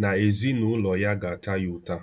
na ezinụlọ ya ga-ata ya ụta.